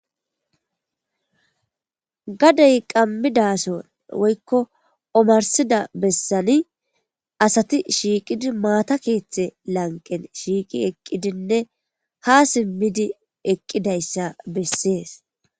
Gadey qammidason woykko omarsida bessani asati shiiqidi maata keeththe lanqen shiiqi eqqidinne ha simmidi eqqidayssa bessees.